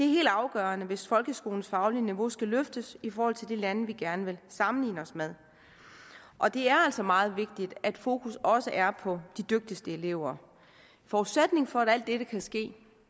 helt afgørende hvis folkeskolens faglige niveau skal løftes i forhold til de lande som vi gerne vil sammenligne os med og det er altså meget vigtigt at fokus også er på de dygtigste elever forudsætningen for at alt dette kan ske